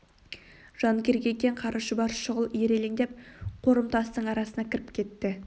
жан керек екен қара шұбар шұғыл ирелеңдеп қорым тастың арасына кіріп кетті